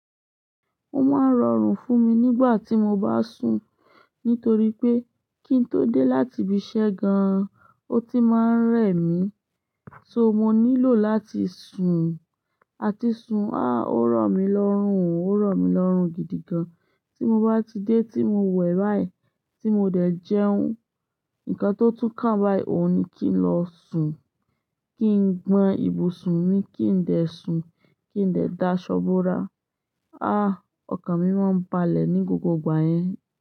Ó máa ń rọrùn fún mi nígbà tí mo bá sùn, nítorí pé kí n tó dé láti ibi iṣẹ́ gan-an, ó ti máa ń rẹ̀ mí, so mo nílò láti sùn, àti sùn, ah ò rọ̀ mí lọ́rùn, ò rọ̀ mí lọ́rùn gidi gan. Tí mo bá ti dé, tí mo wẹ̀ báyìí, tí mo dẹ̀ jẹun, nǹkan tó tún ká báyìí òun ni kí n lọ sùn, kí n gbọn ibùsùn mi, kí n dẹ̀ sùn, kí n dẹ̀ da aṣo borà. Ah Ah! Ọkàn mi máa ń balẹ̀ ní gbogbo ìgbà yẹn.